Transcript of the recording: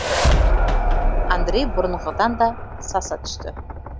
андрей бұрынғыдан да саса түсті